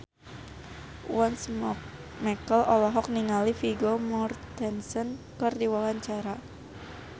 Once Mekel olohok ningali Vigo Mortensen keur diwawancara